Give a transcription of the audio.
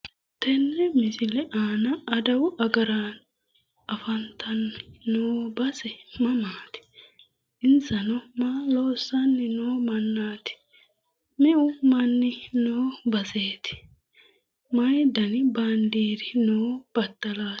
tenne misile aana adawu agaraano afantanno base mamaati insano maa loossanni noo mannaati?, meu manni noo baseeti?, mayi dani baandeeri noo battalaati?